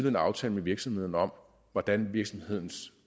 en aftale med virksomheden om hvordan virksomhedens